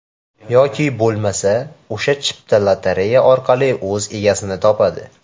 Yoki bo‘lmasa, o‘sha chipta lotereya orqali o‘z egasini topadi.